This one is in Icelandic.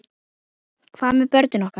Hvað með börnin okkar?